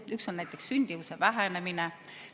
Üks on näiteks sündimuse vähenemine.